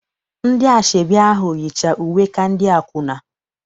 Ndị asọebi ahụ yicha uwe ka ndị akwụna.